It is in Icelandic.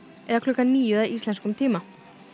eða klukkan níu að íslenskum tíma